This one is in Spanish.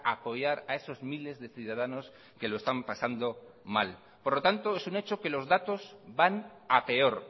apoyar a esos miles de ciudadanos que lo están pasando mal por lo tanto es un hecho que los datos van a peor